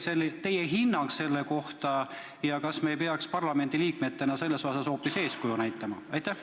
Milline on teie hinnang sellele ja kas me ei peaks parlamendiliikmetena selles osas hoopis eeskuju näitama?